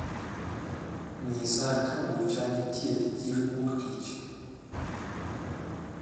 nyisa ka bucha nitie chieng wuok tich